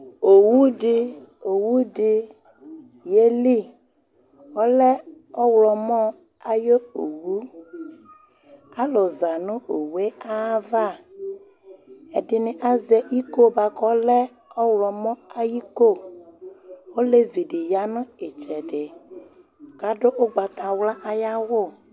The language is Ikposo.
owu di, owu di yeli, ɔlɛ ɔwlɔmɔ ayi owu, alu za nu owue ayi ava, ɛdini azɛ iko buaku ɔlɛ ɔwlɔmɔ ayiko ,olevi di bi ya nu itsɛdi k'adu ugbatawla ayi awù